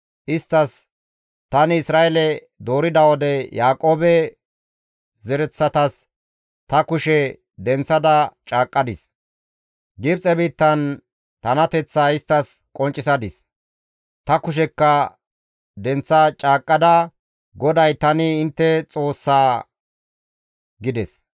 Isttas, ‹Tani Isra7eele doorida wode, Yaaqoobe zaretas ta kushe denththada caaqqadis; Gibxe biittan tanateththaa isttas qonccisadis; ta kushekka denththa caaqqada GODAY tani intte Xoossa› gides.